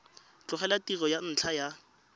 tlogela tiro ka ntlha ya